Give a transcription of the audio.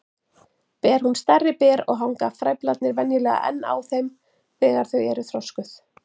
Ber hún stærri ber og hanga frævlarnir venjulega enn á þeim þegar þau eru þroskuð.